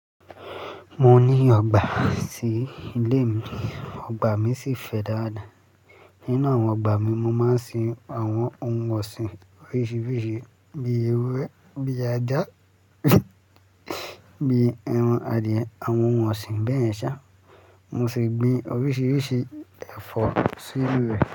Mo ní ọgbà sí ilé mi. Ọgbà mi sì fẹ̀ dáadáa. Nínú àwọn ọgbà mi, mo máa ń sin àwọn ohun ọ̀sìn oríṣiríṣi bíi ewúrẹ́, bíi ajá, bíi ẹran adìẹ, àwọn ohun ọ̀sìn bẹyẹn ṣá. Mo sì gbin oríṣiríṣi ẹ̀fọ́ sí inú rẹ̀